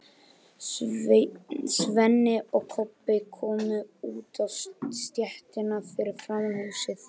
Svenni og Kobbi komu út á stéttina fyrir framan húsið.